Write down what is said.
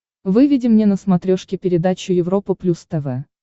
выведи мне на смотрешке передачу европа плюс тв